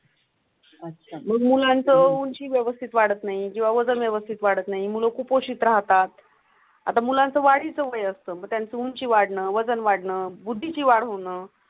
मग मुळांतूनची व्यवस्थित वाटत नाही. जेव्हा वजन व्यवस्थित वाढत नाहीं मूल कुपोषित राहतात. आता मुलांच्या वाढीचं वय असतं. त्यांची उंची वाढणं वजन वाढणं बुद्धीची वाढ होऊन.